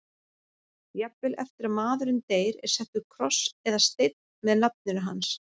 Jafnvel eftir að maðurinn deyr er settur kross eða steinn með nafninu hans.